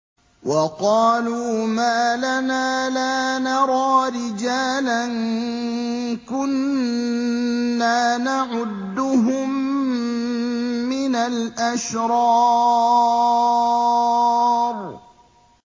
وَقَالُوا مَا لَنَا لَا نَرَىٰ رِجَالًا كُنَّا نَعُدُّهُم مِّنَ الْأَشْرَارِ